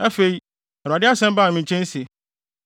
Afei, Awurade asɛm baa me nkyɛn se: